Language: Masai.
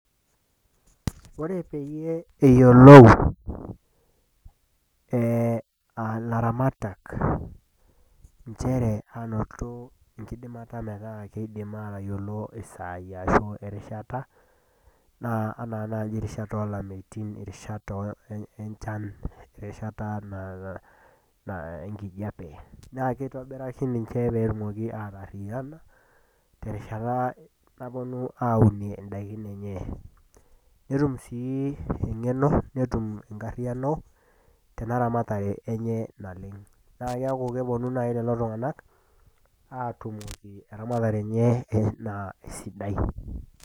Ore pee eyiolou ilaramatak enchere ainoto enkidimata metaa keidim aatayiolou isaai arashu erishata, naa anaa naaji erishata o lameitin, erishata enchan, erishata naa ene enkijape, naa keitobiraki ninche pee etum aatariyana, terishata napuonu aaunie indaikin enye. Netum sii eng'eno netum enkaryano tena ramatare enye naleng', naa keaku kepuonu naaji lelo tung'anak aatumoki eramatare eneye naa esidai.